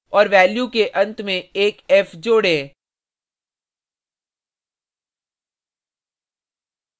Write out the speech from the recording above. और value के and में एक f जोड़े